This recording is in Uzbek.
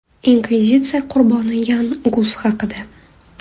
Inkvizitsiya qurboni Yan Gus haqida.